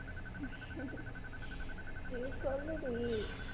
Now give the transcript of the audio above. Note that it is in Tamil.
நீ சொல்லுடி